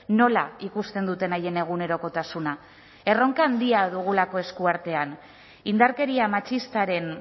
nola ikusten duten haien egunerokotasuna erronka handia dugulako esku artean indarkeria matxistaren